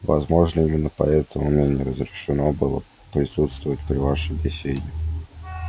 возможно именно поэтому мне не разрешено было присутствовать при вашей беседе